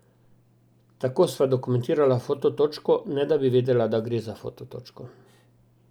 Tako sva dokumentirala foto točko, ne da bi vedela, da gre za foto točko.